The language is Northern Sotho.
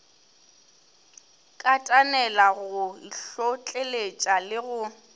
katanela go itlhotleletša le go